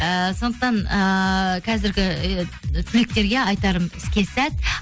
ііі сондықтан ыыы қазіргі і түлектерге айтарым іске сәт